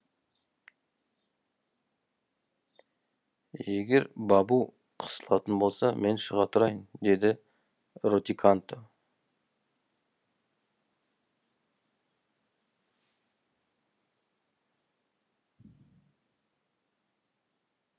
егерде бабу қысылатын болса мен шыға тұрайын деді ротиканто